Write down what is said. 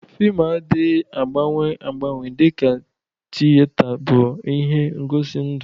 Fịlmụ adịghị agbanwe agbanwe dịka tiyeta bụ ihe ngosi ndụ.